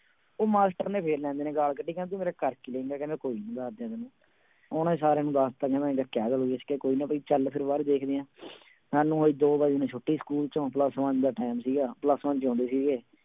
ਉਹ ਮਾਸਟਰ ਨੇ ਫਿਰ ਭੈਣਦੇ ਨੇ ਗਾਲ ਕੱਢੀ ਕਹਿੰਦਾ ਤੂੰ ਮੇਰਾ ਕਰ ਕੀ ਲਏਂਗਾ ਕਹਿੰਦਾ ਕੋਈ ਨੀ ਦੱਸਦੇ ਹਾਂ ਤੈਨੂੰ, ਉਹਨੇ ਸਾਰਿਆਂ ਨੂੰ ਦੱਸ ਦਿੱਤਾ ਕਹਿੰਦਾ ਕੋਈ ਨਾ ਵੀ ਚੱਲ ਫਿਰ ਬਾਹਰ ਵੇਖਦੇ ਹਾਂ ਸਾਨੂੰ ਹੋਈ ਦੋ ਵਜੇ ਨੂੰ ਛੁੱਟੀ ਸਕੂਲ ਚੋਂ plus-one ਦਾ time ਸੀਗਾ plus-one ਚ ਹੁੰਦੇ ਸੀਗੇ।